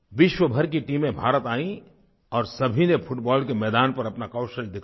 विश्वभर की टीमें भारत आयीं और सभी ने फुटबॉल के मैदान पर अपना कौशल दिखाया